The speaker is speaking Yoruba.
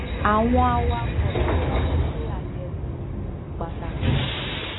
àwọn awakò tí wón ń ṣe àyèwò um pàtàkì